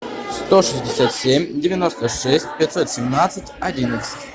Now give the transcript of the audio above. сто шестьдесят семь девяносто шесть пятьсот семнадцать одиннадцать